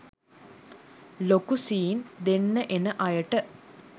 ලොකු සීන් දෙන්න එන අයට